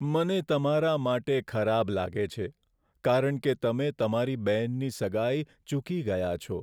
મને તમારા માટે ખરાબ લાગે છે કારણ કે તમે તમારી બહેનની સગાઈ ચૂકી ગયા છો.